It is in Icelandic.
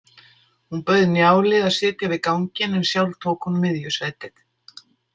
Hún bauð Njáli að sitja við ganginn en sjálf tók hún miðjusætið.